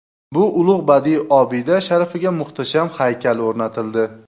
Bu ulug‘ badiiy obida sharafiga muhtasham haykal o‘rnatildi.